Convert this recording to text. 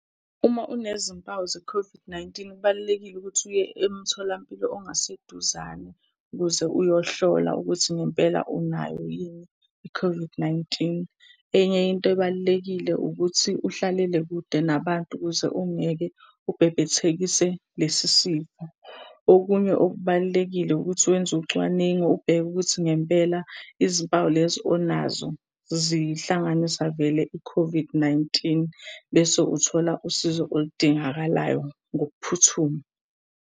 Uma unezimpawu ze-COVID-19 kubalulekile ukuthi uye emtholampilo ongaseduzane ukuze uyohlola ukuthi ngempela unayo yini i-COVID-19. Enye into ebalulekile ukuthi uhlalele kude nabantu ukuze ungeke ubhebhethekise lesi sifo. Okunye okubalulekile ukuthi wenze ucwaningo ubheke ukuthi ngempela izimpawu lezi onazo zihlanganisa vele i-COVID-19, bese uthola usizo olidingakalayo ngokuphuthuma.